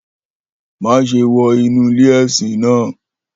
Maṣe wọ inu ile-ẹsin naa!